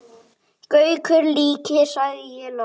Gaukur líkir, sagði ég loks.